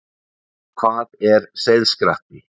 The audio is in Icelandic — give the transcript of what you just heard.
Hvað er seiðskratti?